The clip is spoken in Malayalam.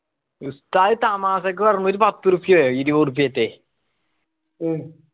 ഉസ്താദ് തമാശക്ക് പറഞ്ഞ ഒരു പത്തൂർപയോ ഇരുവൃപ്യാ റ്റേ